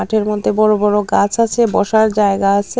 মাঠের মধ্যে বড় বড় গাছ আছে বসার জায়গা আসে।